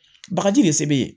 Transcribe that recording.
Bagaji de se be yen